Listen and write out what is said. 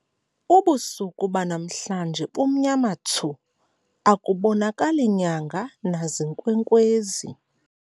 Ubusuku banamhlanje bumnyama thsu akubonakali nyanga nazinkwenkwezi.